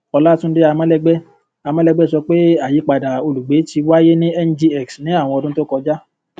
olatunde amolegbe amolegbe sọ pé ayípadà olùgbé ti wáyé ní ngx ní àwọn ọdún tó kọjá